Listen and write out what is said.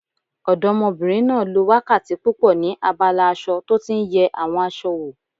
Ọdọ́mọbìnrin náà lo wákàtí púpọ̀ ní abala aṣọ tó tí n yẹ àwọn aṣọ wò